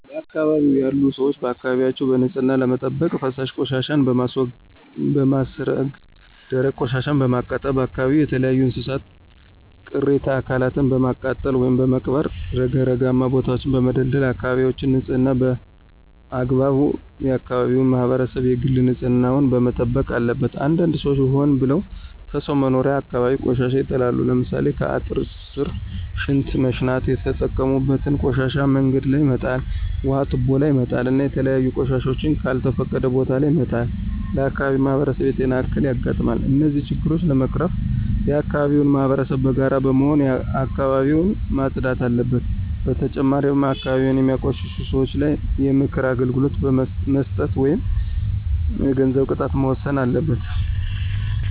በአካባቢው ያሉ ሰዎች አካባቢያቸውን በንፅህና ለመጠበቅ ፈሳሽ ቆሻሻወችን በማስረገ ደረቅ ቆሻሻወችን በማቃጠል አካባቢዎችን ከተለያዩ የእንስሳት ቅሬተ አካላትን በማቃጠል ወይም በመቅበር ረግረጋማ ቦታወችን በመደልደል አካበቢወችን ንፅህና በአግባቡ የአከባቢው ማህበረሰብ የግል ንፅህና ዉን መጠበቅ አለበት። አንዳንድ ሰዎች ሆን ብለው ከሰው መኖሪያ አካባቢ ቆሻሻ ይጥላሉ። ለምሳሌ ከአጥር ስር ሽንት መሽናት የተጠቀሙበትን ቆሻሻ መንገድ ላይ መጣል ውሀ ቱቦ ላይ መጣል እና የተለያዩ ቆሻሻወችን ከልተፈቀደ ቦታ ለይ መጣል ለአካባቢው ማህበረሰብ የጤና እክል ያጋጥማል። እነዚህን ችግሮች ለመቀረፍ የአከባቢው ማህበረሰብ በጋራ በመሆን አካባቢውን ማፅዳት አለበት። በተጨማሪም አካባቢን የሚያቆሽሹ ሰወች ላይ የምክር አገልግሎት መስጠት ወይም የገንዘብ ቅጣት መወሰን አለበት።